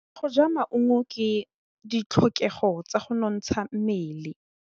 Go ja maungo ke ditlhokegô tsa go nontsha mmele.